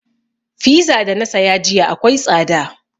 Fiza da na saya jiya akwai tsada